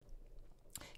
DR1